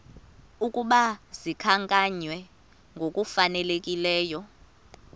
ukuba zikhankanywe ngokufanelekileyo